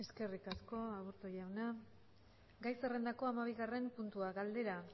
eskerrik asko aburto jauna gai zerrendako hamabigarren puntua galdera